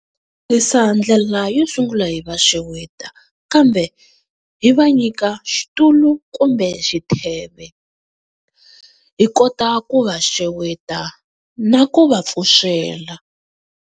Tirhisa ndlela yo sungula hi va xeweta, kambe hi va nyika xitulu kumbe xitheve hi kota ku va xeweta na ku va pfuxela.